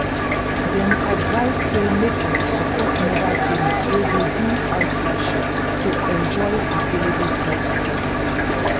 dem advise say make una support mobile clinics wey dey do outreach to enjoy avallable health services.